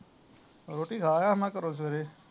ਰੋਟੀ ਖਾ ਆਇਆ ਮੈਂ ਘਰੋਂ ਸਵੇਰੇ